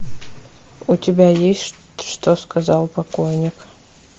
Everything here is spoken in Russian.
у тебя есть что сказал покойник